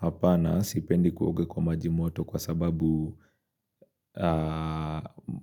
Hapana sipendi kuoga kwa majimoto kwa sababu